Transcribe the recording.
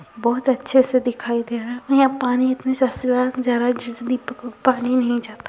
बोहोत अच्छे से दिखाई दे रहा है। यहाँ पानी पानी नहीं जाता --